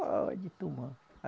Pode tomar.